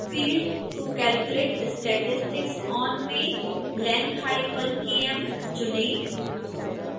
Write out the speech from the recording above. field to calculate statistics on में length_km चुनें